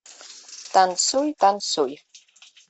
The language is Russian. танцуй танцуй